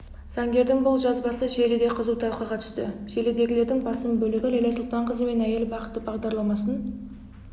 заңгердің бұл жазбасы желіде қызу талқыға түсті желідегілердің басым бөлігі ләйлә сұлтанқызы мен әйел бақыты бағдарламасын